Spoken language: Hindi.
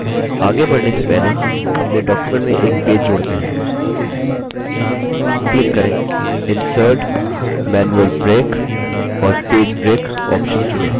आगे बढ़ने से पहले अपने document में एक पेज जोड़ते हैं क्लिक करें insert>> manual break और page break option चुने